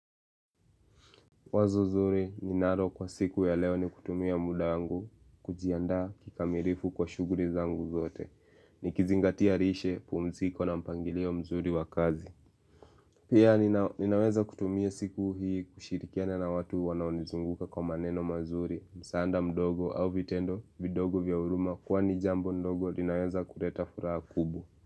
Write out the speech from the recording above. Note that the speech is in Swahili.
Wazo zuri, ninalo kwa siku ya leo ni kutumia muda wangu kujiandaa kikamilifu kwa shughuli zangu zote. Nikizingatia lishe, pumziko na mpangilio mzuri wa kazi. Pia ninaweza kutumia siku hii kushirikiana na watu wanaonizunguka kwa maneno mazuri, msaada mdogo au vitendo vidogo vya huruma kwani jambo ndogo linaweza kuleta furaha kubu.